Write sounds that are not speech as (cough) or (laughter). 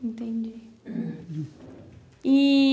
Entendi. (coughs) E...